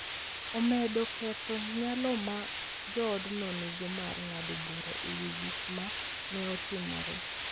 Omedo ketho nyalo ma joodno nigo mar ng’ado bura e wi gik ma ne timore.